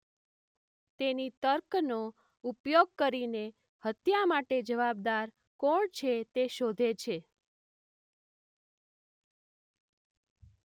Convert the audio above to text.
તેણી તર્કનો ઉપયોગ કરીને હત્યા માટે જવાબદાર કોણ છે તે શોધે છે.